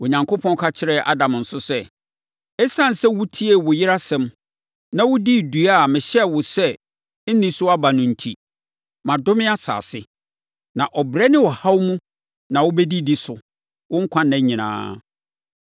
Onyankopɔn ka kyerɛɛ Adam nso sɛ, “Esiane sɛ wotiee wo yere asɛm, na wodii dua a mehyɛɛ wo sɛ, ‘Nni so aba no’ enti, “Madome asase, na ɔbrɛ ne ɔhaw mu na wobɛdidi so wo nkwa nna nyinaa.